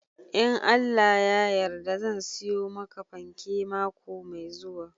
In Allah ya yarda zan siyo maka fanke mako mai zuwa.